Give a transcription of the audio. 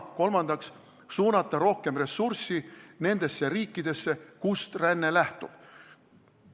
Kolmandaks tuleb suunata rohkem ressursse nendesse riikidesse, kust ränne lähtub.